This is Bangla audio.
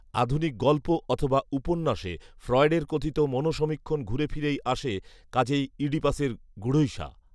আধুনিক গল্প অথবা উপন্যাসে ফ্রয়েডের কথিত মনঃসমীক্ষণ ঘুরেফিরেই আসে কাজেই ইডিপাস গূঢ়ৈষা